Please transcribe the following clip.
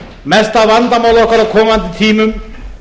mesta vandamál okkar á komandi tímum